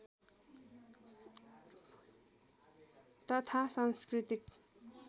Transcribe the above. तथा सांस्कृतिक